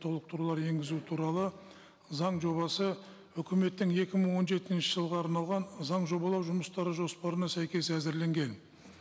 толықтырулар енгізу туралы заң жобасы үкіметтің екі мың он жетінші жылға арналған заң жобалау жұмыстары жоспарына сәйкес әзірленген